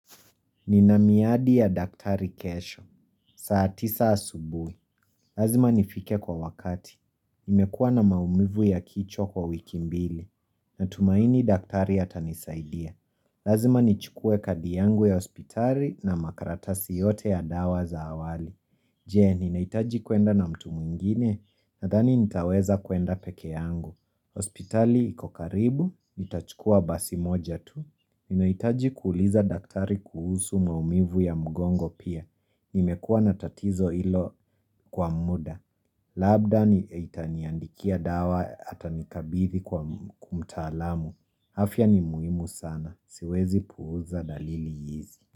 Ninamiadi ya daktari kesho. Saa tisa asubuhi. Lazima nifike kwa wakati. Nimekuwa na maumivu ya kichwa kwa wiki mbili. Natumaini daktari atanisaidia. Lazima nichukue kadi yangu ya hospitali na makaratasi yote ya dawa za awali. Je, ninahitaji kuenda na mtu mwingine, nadhani nitaweza kuenda peke yangu. Hospitali ikokaribu, nitachukua basi moja tu. Ninahitaji kuuliza daktari kuhusu maumivu ya mgongo pia. Nimekuwa natatizo hilo kwa muda. Labda nitaniandikia dawa ata nikabithi kwa kumtaalamu. Afya ni muhimu sana. Siwezi puuza dalili hizi.